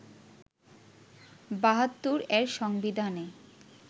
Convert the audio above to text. ৭২ এর সংবিধানে